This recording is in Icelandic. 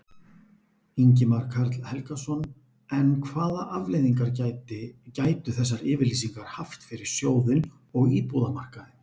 Ingimar Karl Helgason: En hvað afleiðingar gæti, gætu þessar yfirlýsingar haft fyrir sjóðinn og íbúðamarkaðinn?